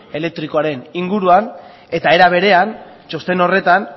elektrikoaren inguruan eta era berean txosten horretan